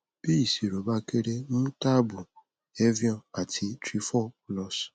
tí ìṣirò bá kéré mú táàbù evion àti trifol plus